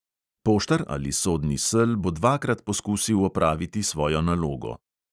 Poštar ali sodni sel bo dvakrat poskusil opraviti svojo nalogo.